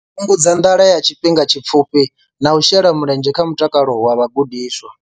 Fhungudza nḓala ya tshifhinga tshipfufhi na u shela mulenzhe kha mutakalo wa vhagudiswa.